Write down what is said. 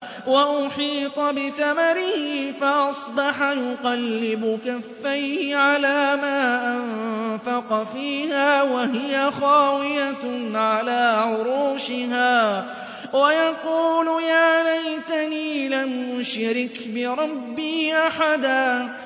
وَأُحِيطَ بِثَمَرِهِ فَأَصْبَحَ يُقَلِّبُ كَفَّيْهِ عَلَىٰ مَا أَنفَقَ فِيهَا وَهِيَ خَاوِيَةٌ عَلَىٰ عُرُوشِهَا وَيَقُولُ يَا لَيْتَنِي لَمْ أُشْرِكْ بِرَبِّي أَحَدًا